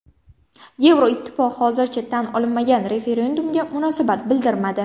Yevroittifoq hozircha tan olinmagan referendumga munosabat bildirmadi.